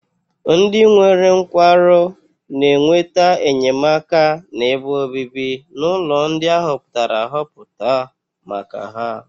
Ndị nwere nkwarụ na-enweta enyemaka na ebe obibi n'ụlọ ndị a họpụtara ahọpụta maka ha.